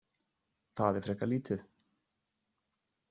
Það er frekar lítið.